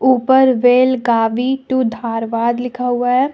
ऊपर बेलगावी टू धारवाद लिखा हुआ है।